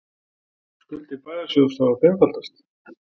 Skuldir bæjarsjóðs hafa fimmfaldast